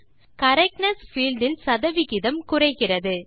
correctness field இல் சத விகிதம் குறைகிறது